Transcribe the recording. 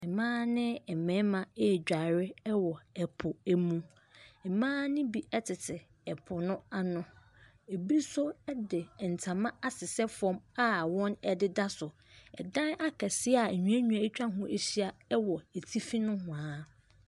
Mmaa ne mmarima ɛredware ɛpo mu, mmaa ne bi tete po no ano, bi nso de ntama asesɛ fam a wɔdeda so. Dan akɛseɛ a nnuannua atwa ho ahyia wɔ atifi nohoa.